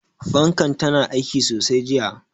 Fankar tana aiki sosai jiya.